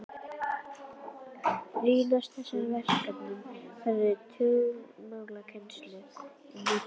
Brýnast þessara verkefna var að færa tungumálakennsluna til nútímahorfs.